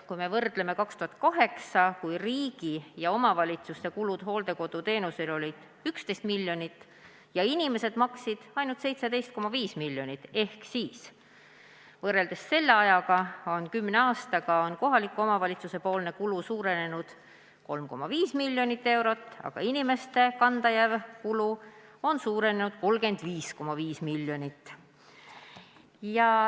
Kui me võrdleme seda aastaga 2008, kui riigi ja omavalitsuste kulud hooldekoduteenusele olid 11 miljonit ja inimesed maksid ainult 17,5 miljonit, siis selle ajaga – kümne aasta jooksul – on kohaliku omavalitsuse kulu suurenenud 3,5 miljonit eurot, aga inimeste enda kanda jääv kulu on suurenenud 35,5 miljonit.